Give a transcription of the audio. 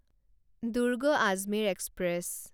Durg Ajmer express